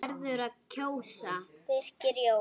Birgir Jón.